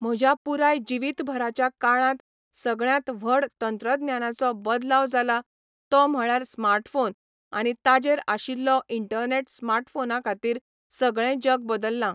म्हज्या पुराय जिवित भराच्या काळांत सगळ्यांत व्हड तंत्रज्ञानाचो बदलाव जाला तो म्हळ्यार स्मार्टफोन आनी ताजेर आशिल्लो इर्ण्टनॅट स्माटफोना खातीर सगळें जग बदल्लां.